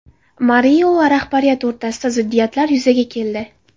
Mario va rahbariyati o‘rtasida ziddiyatlar yuzaga keldi.